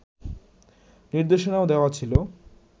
নির্দেশনাও দেওয়া ছিল